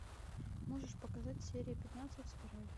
можешь показать серия пятнадцать спираль